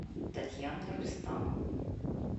татьяна рустамовна